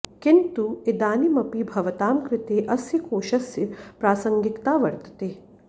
किन्तु इदानीमपि भवतां कृते अस्य कोशस्य प्रासंगिकता वर्तते